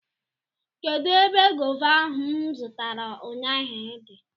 Kedụ ebe gọva ahụ m zụtara ụnyaahụ dị?